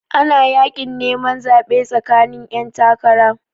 Ana yakin neman zaɓe tsakanin 'yantakara.